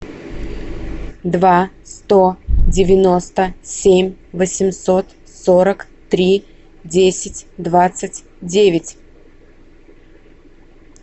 два сто девяносто семь восемьсот сорок три десять двадцать девять